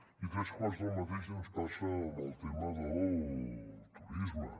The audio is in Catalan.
i tres quarts del mateix ens passa amb el tema del turisme